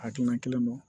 Hakilina kelen don